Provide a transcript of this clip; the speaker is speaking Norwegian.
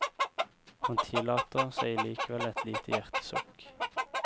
Han tillater seg likevel et lite hjertesukk.